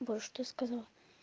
боже что я сказала